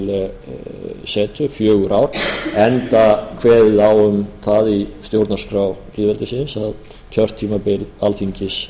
ár enda kveðið á um það í stjórnarskrá lýðveldisins að kjörtímabil alþingis